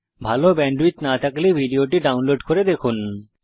যদি ভাল ব্যান্ডউইডথ না থাকে তাহলে আপনি ভিডিওটি ডাউনলোড করে দেখতে পারেন